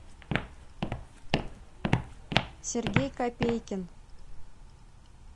сергей копейкин